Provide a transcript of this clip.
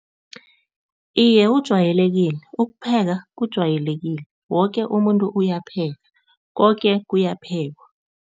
Iye, ujwayelekile, ukupheka kujwayelekile. Woke umuntu uyapheka, koke kuyaphekwa.